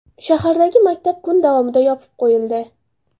Shahardagi maktab kun davomida yopib qo‘yildi.